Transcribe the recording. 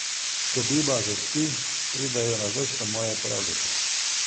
Ko Biba zaspi, pridejo na vrsto moje pravljice.